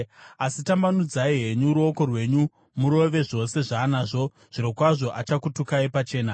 Asi tambanudzai henyu ruoko rwenyu murove zvose zvaanazvo, zvirokwazvo achakutukai pachena.”